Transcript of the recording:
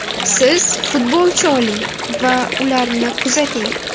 Siz futbolchi oling va ularni kuzating.